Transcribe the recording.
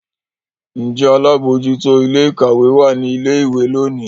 Njé àlabòjuto Ilé-ìkàwé wá ní ilé ìwé lóni?